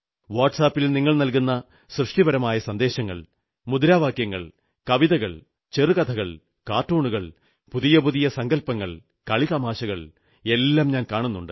വാട്സ് ആപിൽ നിങ്ങൾ നല്കുന്ന സൃഷ്ടിപരമായ സന്ദേശങ്ങൾ മുദ്രാവാക്യങ്ങൾ കവിതകൾ ചെറുകഥകൾ കാർട്ടൂണുകൾ പുതിയ പുതിയ സങ്കൽപ്പങ്ങൾ കളിതമാശകൾ എല്ലാം ഞാൻ കാണുന്നുണ്ട്